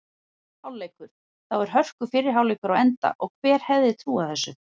Hálfleikur: Þá er hörku fyrri hálfleikur á enda og hver hefði trúað þessu??